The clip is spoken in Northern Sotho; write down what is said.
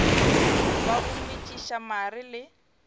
wa go metšiša mare le